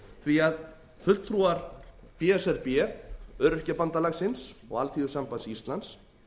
því að fulltrúar b s r b öryrkjabandalagsins og alþýðusambands íslands